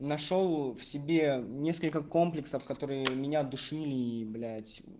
нашёл в себе несколько комплексов которые меня душили блять